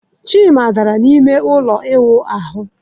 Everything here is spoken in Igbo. Chima dara n'ime ụlọ ịwụ ahụ.